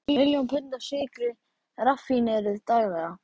Miljón pund af sykri raffíneruð daglega.